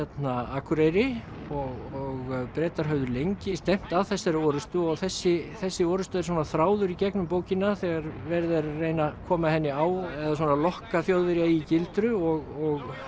Akureyri og Bretar höfðu lengi stefnt að þessari orrustu og þessi þessi orrusta er svona þráður í gegnum bókina þegar verið er að reyna að koma henni á eða svona lokka Þjóðverja í gildru og